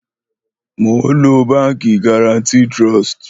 Mò ó ń lo Báńkì Guaranty Trust.